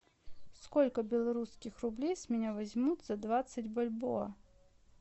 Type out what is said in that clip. сколько белорусских рублей с меня возьмут за двадцать бальбоа